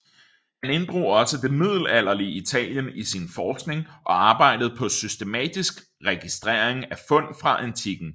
Han inddrog også det middelalderlige Italien i sin forskning og arbejdede på systematisk registrering af fund fra antikken